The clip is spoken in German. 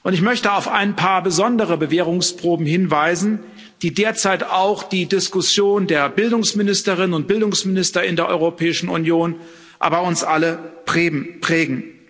Ich möchte auf ein paar besondere Bewährungsproben hinweisen, die derzeit auch die Diskussion der Bildungsministerinnen und Bildungsminister in der Europäischen Union, aber auch uns alle prägen.